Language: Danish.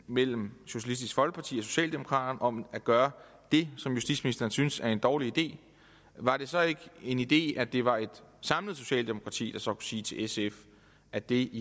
mellem socialistisk folkeparti og socialdemokraterne om at gøre det som justitsministeren synes er en dårlig idé var det så ikke en idé at det var et samlet socialdemokrati der så sige til sf at det